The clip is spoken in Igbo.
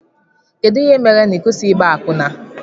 Kedụ ihe mere na ịkwụsighi ịgba akwụna?